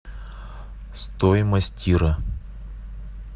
стоимость тира